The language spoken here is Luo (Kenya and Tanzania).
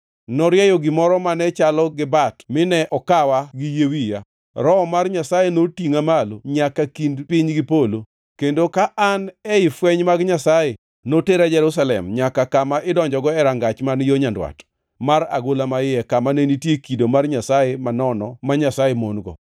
Norieyo gimoro mane chalo gi bat mine okawa gi yie wiya. Roho mar Nyasaye notingʼa malo nyaka kind piny gi polo, kendo ka an ei fweny mag Nyasaye, notera Jerusalem, nyaka kama idonjogo e rangach man yo nyandwat, mar agola maiye, kama ne nitie kido mar nyasaye manono ma Nyasaye mon-go.